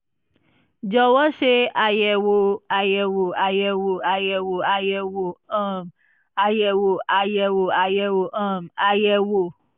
jọ̀wọ́ ṣe àyẹ̀wò àyẹ̀wò àyẹ̀wò àyẹ̀wò àyẹ̀wò um àyẹ̀wò àyẹ̀wò àyẹ̀wò um àyẹ̀wò